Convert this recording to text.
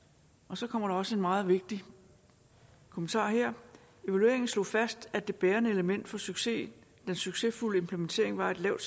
så kommer der også en meget vigtigt kommentar her evalueringen slog fast at det bærende element for succesfuld succesfuld implementering var et lavt